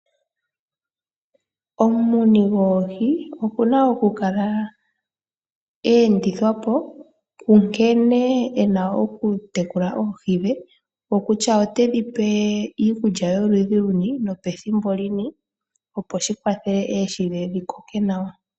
Omumuni goohi okuna okukala aendithwapo, kunkene ena okukala atekula oohi dhe, okutya otedhipe iikulya yoludhi luni nethimbo peni opo shikwathele dhikoke nawa.